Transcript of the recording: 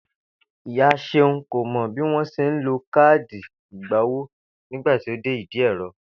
Ìyá S̩eun kò mo̩ bí wón s̩e ń lo káàdì ìgbowó nígbà tó dé ìdí è̩ro